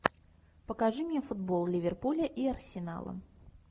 покажи мне футбол ливерпуля и арсенала